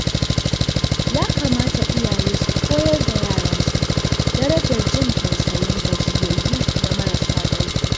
Ya kamata iyaye su koyar da yaransu darajar jin tausayin gajiyayyu da marasa ƙarfi.